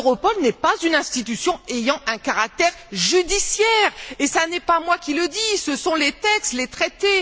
Europol n'est pas une institution à caractère judiciaire, et ce n'est pas moi qui le dis, ce sont les textes, les traités.